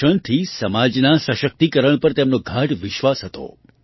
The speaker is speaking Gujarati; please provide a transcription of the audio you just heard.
શિક્ષણથી સમાજના સશક્તિકરણ પર તેમનો ગાઢ વિશ્વાસ હતો